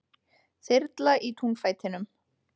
Þyrla í túnfætinum